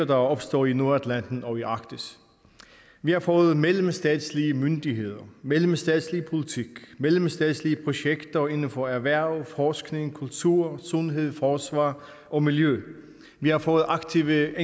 der er opstået i nordatlanten og i arktis vi har fået mellemstatslige myndigheder mellemstatslig politik mellemstatslige projekter inden for erhverv forskning kultur sundhed forsvar og miljø vi har fået aktive